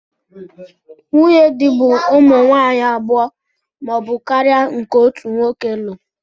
Nwunye di bu ụmụ nwanyi abụọ ma ọbu karia nke otu nwoke lu.